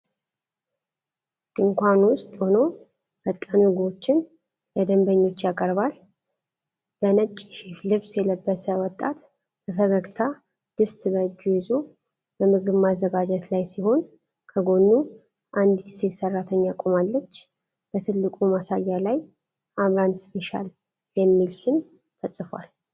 ድንኳን ውስጥ ሆኖ ፈጣን ምግቦችን ለደንበኞች ያቀርባል። በነጭ የሼፍ ልብስ የለበሰ ወጣት በፈገግታ ድስት በእጁ ይዞ በምግብ ማዘጋጀት ላይ ሲሆን፣ ከጎኑ አንዲት ሴት ሰራተኛ ቆማለች። በትልቁ ማሳያ ላይ "አምራን ስፔሻል" የሚል ስም ተጽፏል።